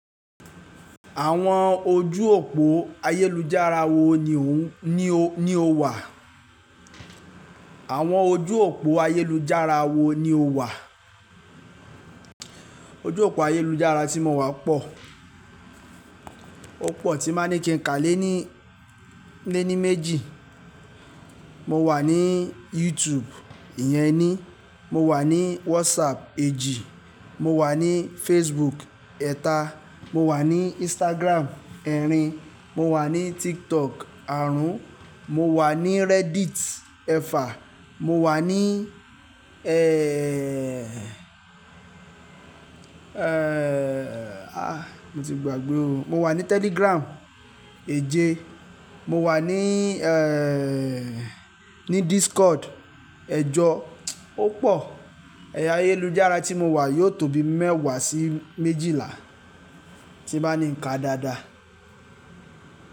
Àwọn ojú òpó ayélujára wo ni o wà? Àwọn ojú òpó ayélujára wo ni o wà? Ojú òpó ayélujára tí mo wà pọ̀. Ó pọ̀ tí ba ní kí n ká lé ni, le ní méjì. Mo wà ní YouTube ìyẹn ení, mo wà ní WhatsApp èjì, mo wà ní Facebook ẹ̀ta, mo wà ní Instagram ẹrin, mo wà ní TikTok àrún, mo wà ní Reddit ẹ̀fà, mo wà ní éèè à mo ti gbàgbé ò, mo wà ní Telegram èje, mo wà ní éèè ní Discord ẹjọ. Ó pọ̀. Ẹ̀yà ayélujára tí mo wà yóò tó bi mẹ́wàá sí méjìlá tí bá ní ń ka dáadáa.